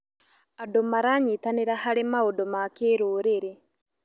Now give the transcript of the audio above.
Andũ maranyitanĩra harĩ maũndũ ma kĩrũrĩrĩ.